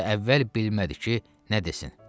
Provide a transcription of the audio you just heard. Və əvvəl bilmədi ki, nə desin.